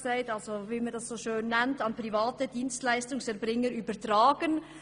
Es steht so schön: «... an private Dienstleistungserbringer übertragen.